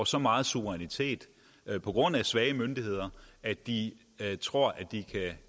så meget suverænitet på grund af svage myndigheder at de tror at de kan